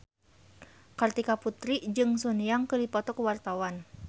Kartika Putri jeung Sun Yang keur dipoto ku wartawan